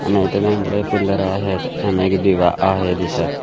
आणि इथे दोन बडे पिलर आहेत आणि एक दिवा आहे दिसत.